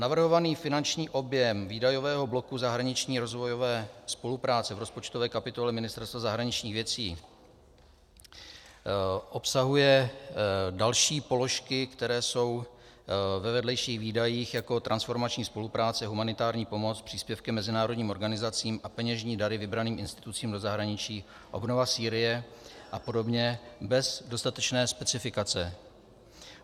Navrhovaný finanční objem výdajového bloku zahraniční rozvojové spolupráce v rozpočtové kapitole Ministerstva zahraničních věcí obsahuje další položky, které jsou ve vedlejších výdajích, jako je transformační spolupráce, humanitární pomoc, příspěvky mezinárodním organizacím a peněžní dary vybraným institucím do zahraničí, obnova Sýrie a podobně, bez dostatečné specifikace.